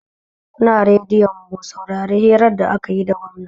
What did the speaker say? Kunna radiyo mu saurari hirar da akayi da gwamna